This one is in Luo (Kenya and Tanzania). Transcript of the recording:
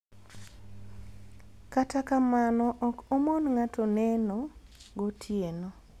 Kata kamano ok omon ng'ato neneo gotieno